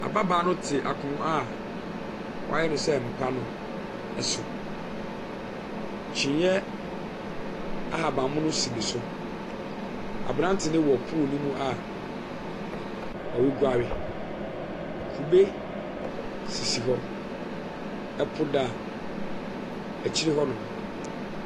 Ababaa no te akonwa a wɔayɛ no sɛ mpa no ɛso. kyiniiɛ ahaban mono si no so. Abranteɛ no wɔ pool no mua ɔguare. Kube sisi hɔ . Ɛpo da akyire ho nom.